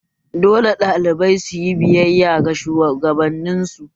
Dole ne ɗalibai suyi biyayya ga shugabanin su